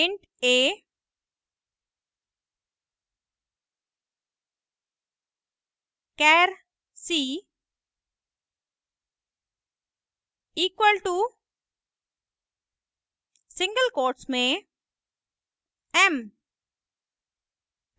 int a char c equal to single quotes में m;